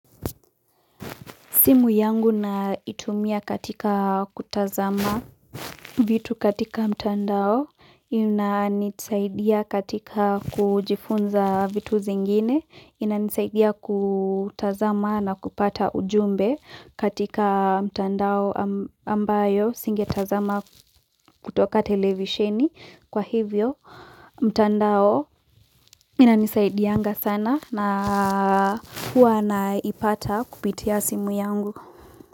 Simu yangu na itumia katika kutazama vitu katika mtandao, inanisaidia katika kujifunza vitu zingine, inanisaidia kutazama na kupata ujumbe katika mtandao ambayo singe tazama kutoka televisheni. Kwa hivyo, mtandao inanisaidia anga sana na huwa na ipata kupitia simu yangu.